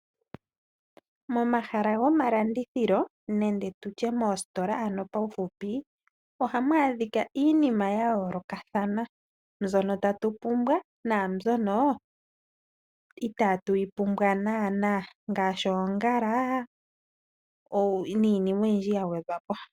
Momahala gomalandithilo ohamu adhika iinima ya yoolokathana, mbyoka tatu pumbwa naambyo inaatu pumbwa uunene ngaashi oongala oshowo tuu.